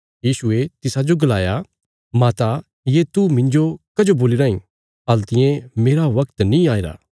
यीशुये तिसाजो गलाया माता ये तू मिन्जो कां दस्या राईं मेरा बगत हल्तिये नीं आईरा